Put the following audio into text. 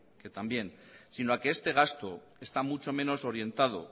que también sino a que este gasto está mucho menos orientado